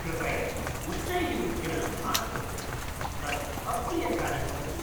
कृपया उच्चैः उद्गिरणं मा कुरु, तत् अप्रियकारि भवति।